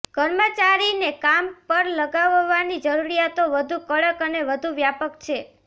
કર્મચારીને કામ પર લગાવવાની જરૂરિયાતો વધુ કડક અને વધુ વ્યાપક છે